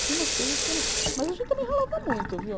Tinha umas coisas que era... Mas a gente também ralava muito, viu?